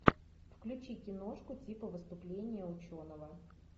включи киношку типа выступление ученого